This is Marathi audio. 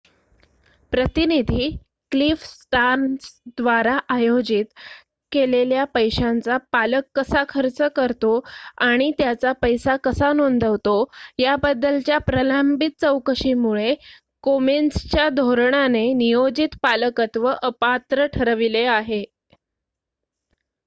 प्रतिनिधी क्लिफ स्टार्न्स द्वारा आयोजित केलेल्या पैशांचा पालक कसा खर्च करतो आणि त्याचा पैसा कसा नोंदवतो याबद्दलच्या प्रलंबित चौकशीमुळे कोमेन्सच्या धोरणाने नियोजित पालकत्व अपात्र ठरविले आहे